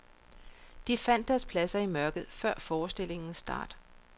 De fandt deres pladser i mørket før forestillingens start.